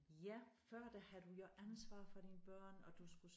Ja før der havde du jo ansvar for dine børn og du skulle